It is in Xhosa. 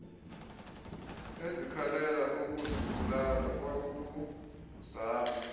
ezikhalela ukuzibulala kwakuzalwa